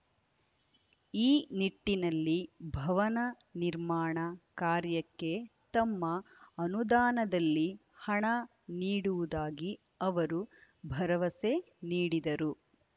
ಈ ನಿಟ್ಟಿನಲ್ಲಿ ಭವನ ನಿರ್ಮಾಣ ಕಾರ್ಯಕ್ಕೆ ತಮ್ಮ ಅನುದಾನದಲ್ಲಿ ಹಣ ನೀಡುವುದಾಗಿ ಅವರು ಭರವಸೆ ನೀಡಿದರು